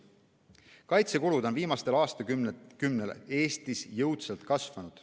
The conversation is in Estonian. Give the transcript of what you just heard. Kaitsekulud on viimasel aastakümnel Eestis jõudsalt kasvanud.